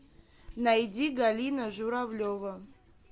найди галина журавлева